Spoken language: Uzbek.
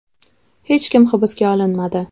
Hech kim hibsga olinmadi.